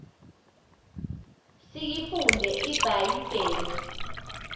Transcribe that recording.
siyifunde ibha yibhile